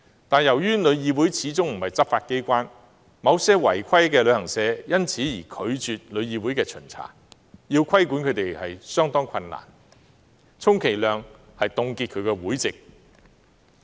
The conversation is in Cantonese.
然而，由於旅議會始終不是執法機關，某些違規旅行社因而拒絕旅議會的巡查，令規管工作相當困難，充其量只能凍結這些旅行社的會籍。